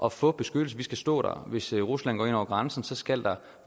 at få beskyttelse vi skal stå der hvis rusland går ind over grænsen skal der